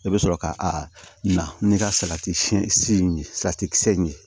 I bɛ sɔrɔ ka a na n'i ka salati si in ye salati kisɛ ye